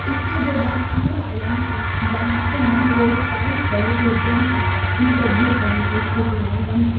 इससे जो बनाने वाले है बनाते है वो उत्साहित बहुत होते है ताकि इनको भुखमरी की स्थिति नहीं बनती।